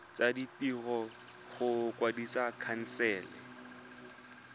tsa ditiro go kwadisa khansele